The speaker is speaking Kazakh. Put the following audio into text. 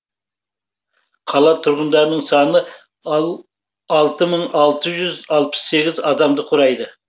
қала тұрғындарының саны алты мың алты жүз алпыс сегіз адамды құрайды